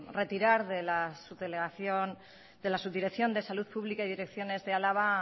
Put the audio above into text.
retirar de la subdirección de salud pública y direcciones de álava